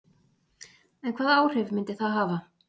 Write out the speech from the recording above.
En hvaða áhrif myndi það hafa?